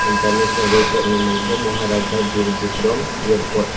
international airport ni bumung unke moharaja birvikram airport.